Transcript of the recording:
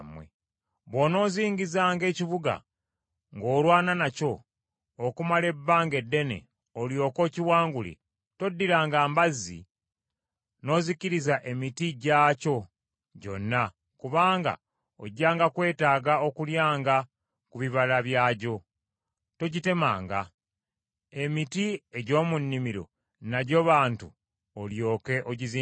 Bw’onoozingizanga ekibuga, ng’olwana nakyo, okumala ebbanga eddene olyoke okiwangule, toddiranga mbazzi n’ozikiriza emiti gyakyo gyonna, kubanga ojjanga kwetaaga okulyanga ku bibala byagyo. Togitemanga. Emiti egy’omu nnimiro nagyo bantu olyoke ogizingize?